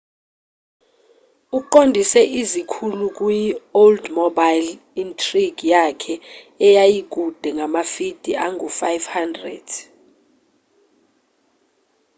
uqondise izikhulu kuyi-oldsmobile intrigue yakhe eyayikude ngamafidi angu 500